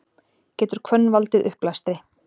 getur hvönn valdið uppblæstri